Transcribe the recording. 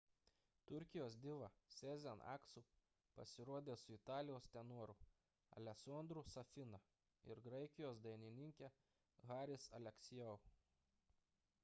turkijos diva sezen aksu pasirodė su italijos tenoru alessandro'u safina ir graikijos dainininke haris alexiou